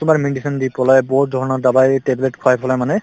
তোমাৰ medicine দি পেলাই বহুত ধৰণৰ dawai tablet খোৱাই পেলাই মানে